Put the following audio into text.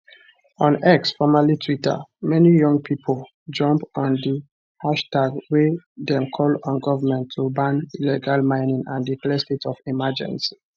on x formerly twitter many young pipo jump on di hashtag wey dem call on goment to ban illegal mining and declare state of emergency